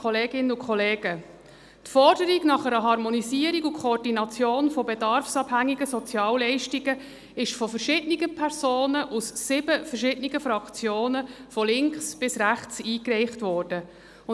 Die Forderung nach einer Harmonisierung und Koordination bedarfsabhängiger Sozialleistungen ist von verschiedenen Personen aus sieben verschiedenen Fraktionen von links bis rechts eingereicht worden (.